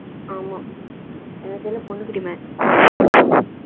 ஆமா எங்க இதுல பொண்ணுக்கு demand